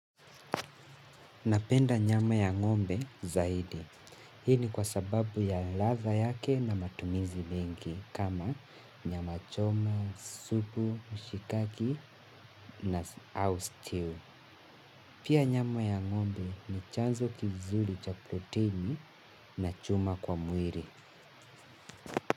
Napenda nyama ya ngombe zaidi. Hii ni kwa sababu ya ladha yake na matumizi mengi kama nyama choma, supu, mshikaki na au stew. Pia nyama ya ngombe ni chanzo kizuri cha proteini na chuma kwa mwili.